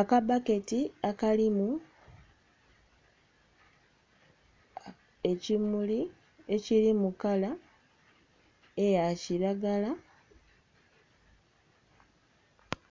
akabbaketi akalimu ekimuli ekiri mukala eya kiragala.